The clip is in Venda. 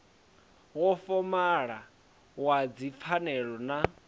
wa fomala wa dzipfanelo na